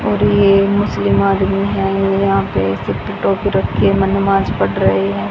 और ये मुस्लिम आदमी है यहां पे सिर पे टोपी रखे नमाज पढ़ रहे हैं।